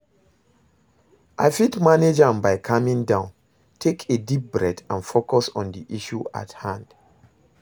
i fit manage am by calming down, take a deep breath and focus on di issue at hand.